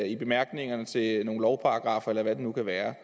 i bemærkningerne til nogle lovparagraffer eller hvad det nu kan være